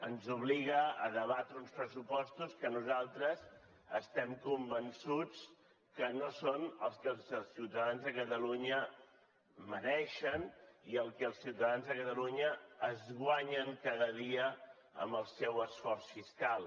ens obliga a debatre uns pressupostos que nosaltres estem convençuts que no són els que els ciutadans de catalunya mereixen i el que els ciutadans de catalunya es guanyen cada dia amb el seu esforç fiscal